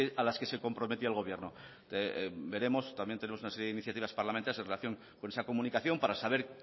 a las que se comprometía el gobierno veremos también tenemos una serie de iniciativas parlamentarias en relación con esa comunicación para saber